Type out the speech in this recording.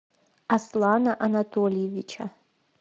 аслана анатольевича